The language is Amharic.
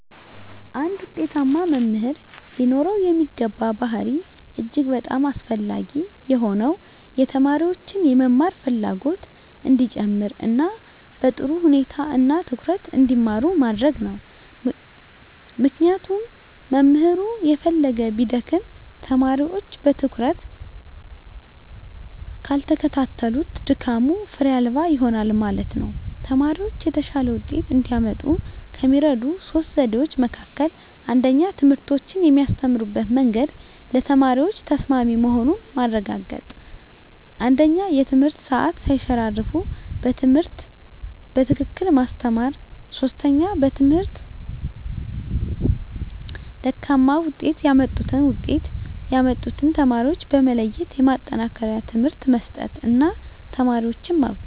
አንድ ውጤታማ መምህር ሊኖረው የሚገባ ባሀሪ እጅግ በጣም አስፈላጊ የሆነው የተማሪዎችን የመማር ፍላጎት እንዲጨመር እና በጥሩ ሁኔታ እና ትኩረት እንዲማሩ ማድረግ ነው ምክንያቱም መምህሩ የፈለገ ቢደክም ተማሪወች በትኩረት ካልተከታተሉት ድካሙ ፋሬ አልባ ይሆናል ማለት ነው። ተማሪወች የተሻለ ወጤት እንዲያመጡ ከሚረዱ 3 ዘዴዎች መካከል 1ኛ ትምህርቶችን የሚያስተምሩበት መንግድ ለተማሪዎች ተሰማሚ መሆኑን ማረጋገጥ 1ኛ የትምህርት ሰአት ሳይሸራረፉ በትክክል ማስተማር 3ኛ በትምህርታቸው ደካማ ውጤት ያመጡትን ውጤት ያመጡትን ተማሪዎች በመለየት የማጠናከሪያ ትምህርት መስጠት እና ተማሪዎችን ማብቃት።